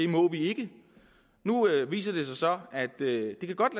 må det nu viser det sig så at det godt